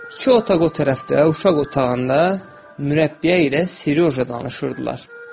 İki otaq o tərəfdə uşaq otağında mürəbbiyə ilə Siryoja danışırdılar.